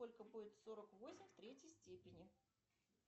сколько будет сорок восемь в третьей степени